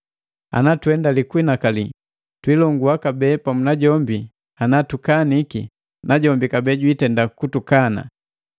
Ana tuhendali kunhinakali, twilongua kabee pamu najombi Ana tukaniki, najombi kabee jwiitenda kutukana.